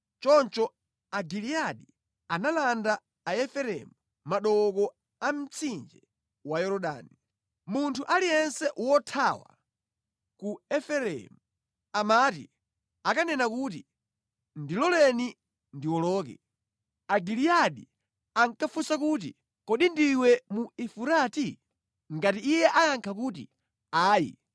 Choncho Agiliyadi analanda Aefereimu madooko a mtsinje wa Yorodani. Munthu aliyense wothawa ku Efereimu amati akanena kuti, “Ndiloleni ndiwoloke,” Agaliyadi ankafunsa kuti, “Kodi ndiwe mu Efurati?” Ngati iye ayankha kuti, “Ayi”